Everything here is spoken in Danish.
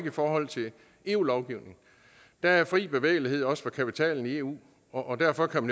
i forhold til eu lovgivningen der er fri bevægelighed også for kapitalen i eu og derfor kan